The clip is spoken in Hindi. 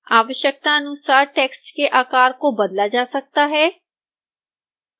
आवश्यकतानुसार टेक्स्ट के आकार को बदला जा सकता है